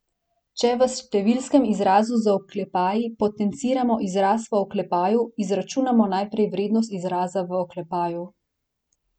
Če v številskem izrazu z oklepaji potenciramo izraz v oklepaju, izračunamo najprej vrednost izraza v oklepaju.